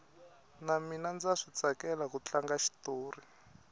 na mina ndza switsakela ku tlanga xitori